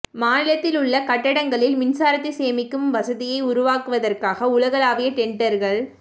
மாநிலத்தில் உள்ள கட்டடங்களில் மின்சாரத்தை சேமிக்கும் வசதியை உருவாக்குவதற்காக உலகளாவிய டெண்டர்கள்